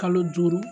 Kalo duuru